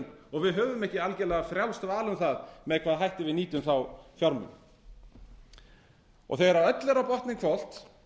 og við höfum ekki algerlega frjálst val um það með hvaða hætti við nýtum þá fjármuni þegar öllu er á botninn hvolft